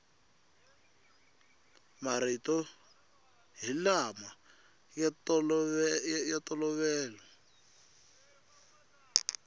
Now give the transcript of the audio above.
marito hi lama ya ntolovelo